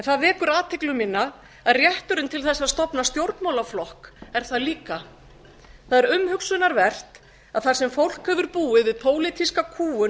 það vekur athygli mína að rétturinn til þess að stofna stjórnmálaflokk er það líka það er umhugsunarvert að þar sem fólk hefur búið við pólitíska kúgun